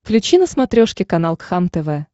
включи на смотрешке канал кхлм тв